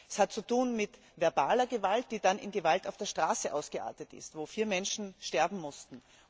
Es hat mit verbaler Gewalt zu tun, die dann in Gewalt auf der Straße ausgeartet ist, wobei vier Menschen sterben mussten.